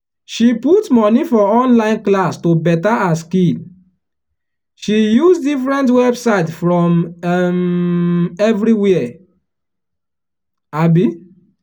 she put money for online class to better her skill she use different website from um everywhere. um